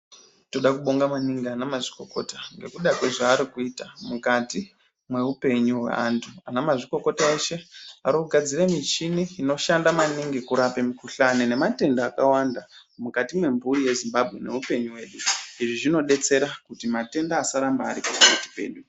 Tinoda kubonga maningi ana mazvikokota ngekuda kwezvavari kuita mukati mehupenyu hwevantu ana mazvikokota eshe ari kugadzira michini inoshanda maningi kurapa mikuhlani nematenda akawanda mukati wemhuri yezimbabwe nehupenyu hwedu. Izvi zvinodetsera kuti matenda asaramba ari pakati pedu.